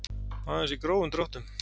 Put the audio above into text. Aðeins í grófum dráttum.